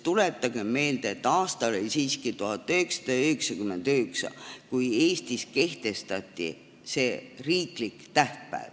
Tuletagem meelde, et aasta oli 1999, kui Eestis kehtestati see riiklik tähtpäev.